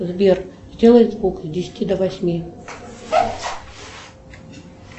сбер сделай звук с десяти до восьми